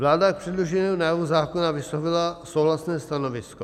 Vláda k předloženému návrhu zákona vyslovila souhlasné stanovisko.